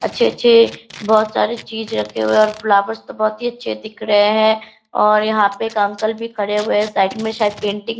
अच्छे-अच्छे बहोत सारे चीज रखें हुए है और फ्लावर्स तो बहुत ही अच्छे दिख रहे है और यहाँ पे एक अंकल भी खड़े हुए है साइड मे शायद पेंटिंग --